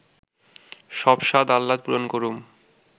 সব স্বাদ-আহ্লাদ পূরণ করুম